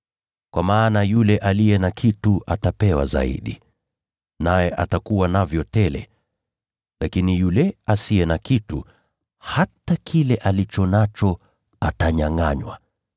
Kwa maana yule aliye na kitu atapewa zaidi, naye atakuwa navyo tele. Lakini yule asiye na kitu, hata kile alicho nacho atanyangʼanywa.